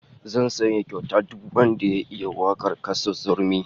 Zan sanya kyauta duk wanda ya iya wakar Kassu Zurmi